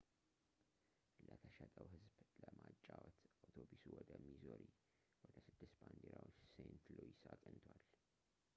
ለተሸጠው ህዝብ ለመጫወት አውቶቡሱ ወደ ሚዙሪ ወደ ስድስት ባንዲራዎች ሴንት ሉዊስ አቅንቷል